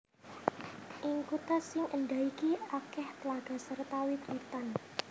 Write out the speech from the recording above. Ing kutha sing éndah iki akèh tlaga serta wit witan